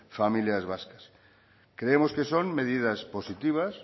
familias vascas creemos que son medidas positivas